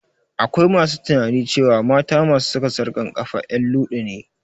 Akwai masu tunanin cewa mata masu saka tsarkan kafa en luɗu ne